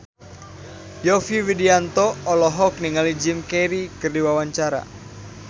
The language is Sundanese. Yovie Widianto olohok ningali Jim Carey keur diwawancara